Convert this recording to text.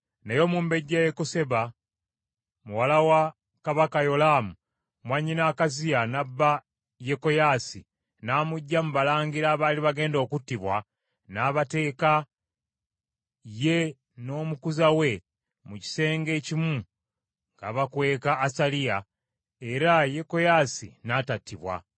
Naye omumbejja Yekoseba muwala wa kabaka Yolaamu mwannyina Akaziya n’abba Yekoyaasi n’amuggya mu balangira abaali bagenda okuttibwa, n’abateeka ye n’omukuza we mu kisenge ekimu ng’abakweka Asaliya, era Yekoyaasi n’atattibwa.